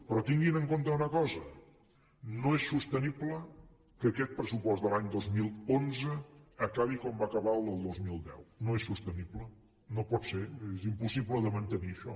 però tinguin en compte una cosa no és sostenible que aquest pressupost de l’any dos mil onze acabi com va acabar el del dos mil deu no és sostenible no pot ser vull dir és impossible de mantenir això